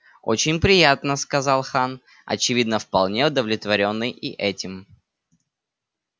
очень приятно сказал хан очевидно вполне удовлетворённый и этим